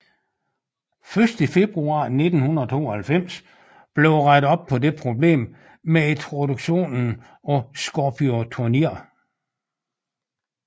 Først i februar 1992 blev der rettet op på dette problem med introduktionen af Scorpio Turnier